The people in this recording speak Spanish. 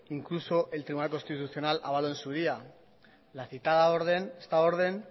incluso el tribunal constitucional avaló en su día la citada orden esta orden